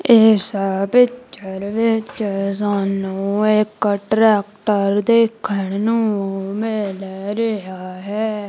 ਇੱਸ ਪਿਕਚਰ ਵਿੱਚ ਸਾਨੂੰ ਇੱਕ ਟ੍ਰੈਕਟਰ ਦੇਖਣ ਨੂੰ ਮਿਲ ਰਿਹਾ ਹੈ।